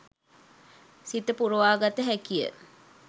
සිත පුරවා ගත හැකි ය.